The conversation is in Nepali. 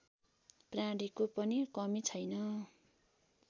प्राणीको पनि कमी छैन